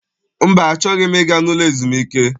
Mba, achọghị m ịga n'ụlọ ezumike.